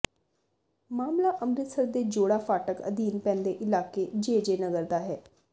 ਮਾਮਲਾ ਅੰਮ੍ਰਿਤਸਰ ਦੇ ਜੋੜਾ ਫਾਟਕ ਅਧੀਨ ਪੈਂਦੇ ਇਲਾਕੇ ਜੇਜੇ ਨਗਰ ਦਾ ਹੈ